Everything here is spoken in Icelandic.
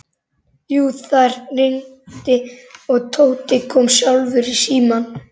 Jú, það hringdi og Tóti kom sjálfur í símann.